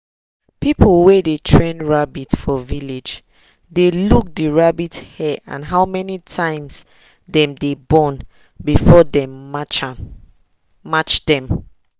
people wey dey train rabbit for village dey look the rabbit hair and how many times dem dey born before dem match dem.